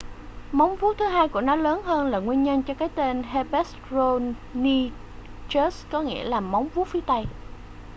móng vuốt thứ hai của nó lớn hơn là nguyên nhân cho cái tên hesperonychus có nghĩa là móng vuốt phía tây